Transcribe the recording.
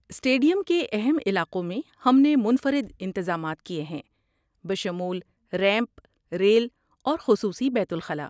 Stadium کے اہم علاقوں میں، ہم نے منفرد انتظامات کیے ہیں، بشمول ریمپ، ریل، اور خصوصی بیت الخلاء۔